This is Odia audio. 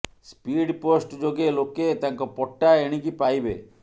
ସ୍ପିଡ୍ ପୋଷ୍ଟ ଯୋଗେ ଲୋକେ ତାଙ୍କ ପଟ୍ଟା ଏଣିକି ପାଇବେ